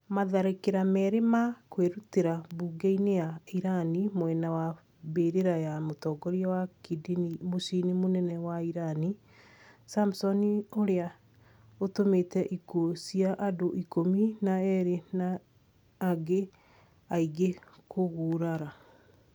Matharĩkira merĩ ma kwĩrutĩra mbunge-inĩ ya irani mwena wa mbĩrĩra ya mũtongoria wa kidini mũcii mũnene wa irani, Samson ũrĩa ũtũmite ikuũ cia andũ ikumi na erĩ na angĩ aingĩ kũgurara